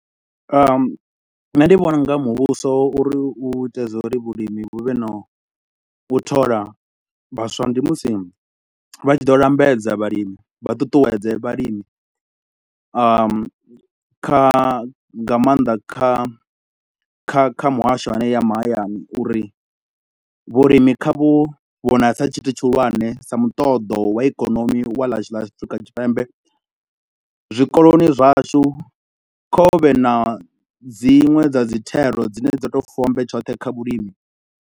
nṋe ndi vhona u nga muvhuso uri u ite zwa uri vhulimi vhu vhe na u thola vhaswa, ndi musi vha tshi ḓo lambedza vhalimi, vha ṱuṱuwedze vhalimi. Kha nga maanḓa kha kha kha muhasho hanea a mahayani uri vhulimi kha vhu vhonale sa tshithu tshihulwane, sa muṱoḓo wa ikonomi wa ḽashu ḽa Afrika Tshipembe. Zwikoloni zwashu kha hu vhe na dziṅwe dza dzi thero dzine dzo tou fombe tshoṱhe kha vhulimi.